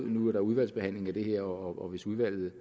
nu er der udvalgsbehandling af det her og hvis udvalget